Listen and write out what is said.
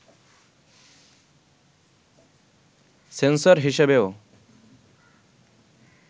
sensor হিসেবেও